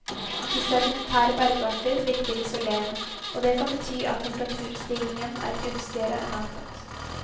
De sedimentære bergarter virker isolerende og det kan bety at temperaturstigningen er gunstigere enn antatt.